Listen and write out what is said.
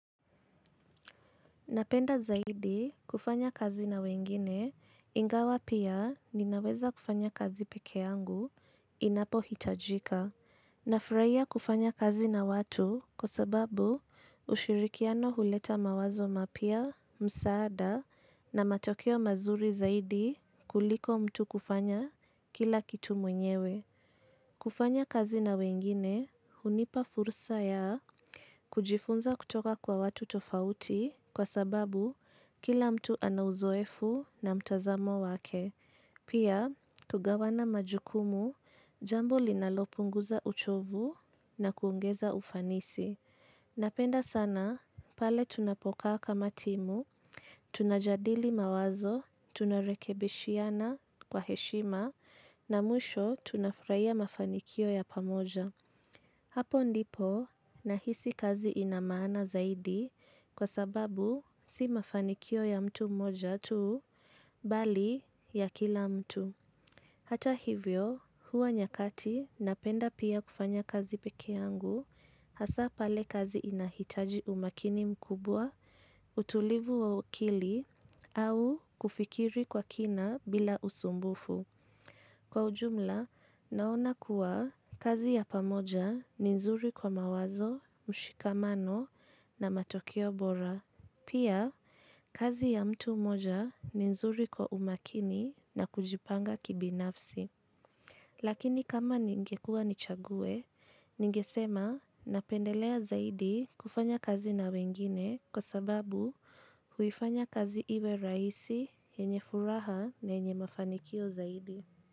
Napenda zaidi kufanya kazi na wengine ingawa pia ninaweza kufanya kazi pekee yangu inapo hitajika. Na furahia kufanya kazi na watu kwa sababu ushirikiano huleta mawazo mapia, msaada na matokeo mazuri zaidi kuliko mtu kufanya kila kitu mwenyewe. Kufanya kazi na wengine, hunipa fursa ya kujifunza kutoka kwa watu tofauti kwa sababu kila mtu ana uzoefu na mtazamo wake. Pia, kugawana majukumu, jambo linalopunguza uchovu na kuungeza ufanisi. Napenda sana pale tunapokaa kama timu, tunajadili mawazo, tunarekebeshiana kwa heshima na mwisho tunafurahia mafanikio ya pamoja. Hapo ndipo nahisi kazi inamaana zaidi kwa sababu si mafanikio ya mtu moja tu bali ya kila mtu. Hata hivyo, huwa nyakati napenda pia kufanya kazi peke yangu, hasa pale kazi inahitaji umakini mkubwa, utulivu wakili, au kufikiri kwa kina bila usumbufu. Kwa ujumla, naona kuwa kazi ya pamoja ni nzuri kwa mawazo, mshikamano na matokeo bora. Pia, kazi ya mtu moja ni nzuri kwa umakini na kujipanga kibinafsi. Lakini kama ningekua nichague ningesema napendelea zaidi kufanya kazi na wengine kwa sababu huifanya kazi iwe raisi yenye furaha na yenye mafanikio zaidi.